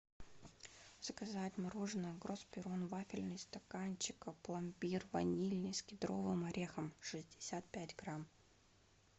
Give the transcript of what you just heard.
заказать мороженое гроспирон вафельный стаканчик пломбир ванильный с кедровым орехом шестьдесят пять грамм